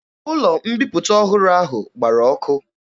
Ụlọ mbiputa ọhụrụ ahụ gbara ọkụ.